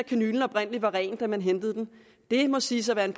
kanylen oprindelig var ren da man hentede den må siges at være en